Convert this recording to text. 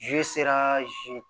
zeriya